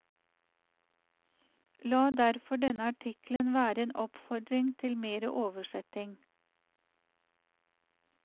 La derfor denne artikkelen være en oppfordring til mere oversetting.